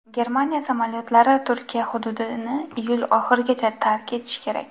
Germaniya samolyotlari Turkiya hududini iyul oxirigacha tark etishi kerak.